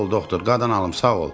Sağ ol doktor, qadan alım, sağ ol.